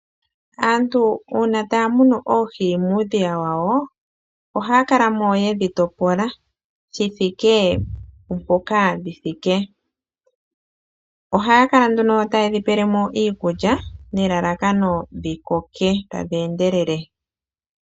Uuna aantu taya munu oohi muudhiya wawo, ohaya kala mo ye dhi topola shi ikwatelela kuunene wadho. Ohaya kala nduno taye dhi pele mo iikulya nelalakano dhi koke tadhi endelele.